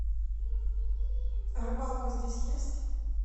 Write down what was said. рыбалка здесь есть